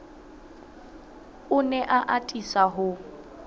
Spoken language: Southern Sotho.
o ne a atisa ho